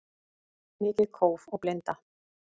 Mikið kóf og blinda